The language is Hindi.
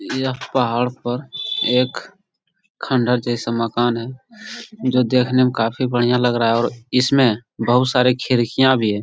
यह पहाड़ पर एक खंडहर जैसा मकान है जो देखने में काफी बढ़िया लग रहा है और इसमें बहुत सारी खिड़कियाँ भी है।